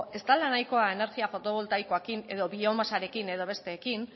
ez dela nahikoa energia fotovoltaikoekin edo biomasarekin edo besteekin